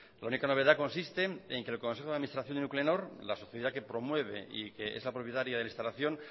la única novedad consiste en que el consejo de administración de nuclenor la sociedad que promueve y que es la propietaria de la instalación